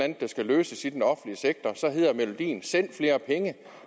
der skal løses i den offentlige sektor hedder melodien send flere penge